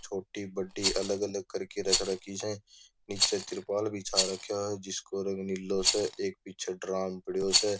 छोटी बड़ी अलग अलग करके रख रखी से निचे त्रिपाल बिछा राख्यो है जिसको रंग नीलो से एक पीछे ड्राम पडो से --